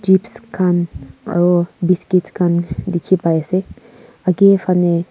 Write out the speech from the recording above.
hips khan aru biskit khan dikhi pai ase agey faney--